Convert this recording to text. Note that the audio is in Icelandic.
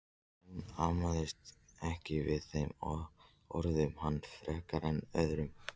Hún amaðist ekki við þeim orðum hans frekar en öðrum.